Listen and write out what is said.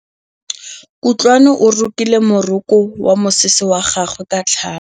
Kutlwanô o rokile morokô wa mosese wa gagwe ka tlhale.